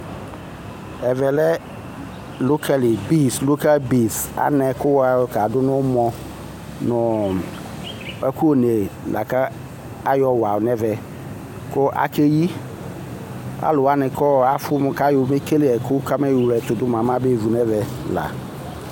Ɛvɛ lɛ lokal beans anɛ ku wayɔ kadu nu umɔ nu ɛku ne kayɔ wa nɛvɛ ku akeyi aluwani afu kamayɔ kele ɛku kamayɔ wle ɛtudu mabevu nɛvɛla